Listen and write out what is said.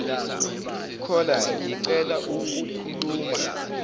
caller ngicela ukukhuluma